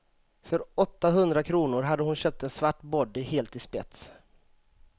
För åtta hundra kronor hade hon köpt en svart body helt i spets.